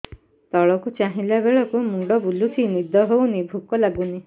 ତଳକୁ ଚାହିଁଲା ବେଳକୁ ମୁଣ୍ଡ ବୁଲୁଚି ନିଦ ହଉନି ଭୁକ ଲାଗୁନି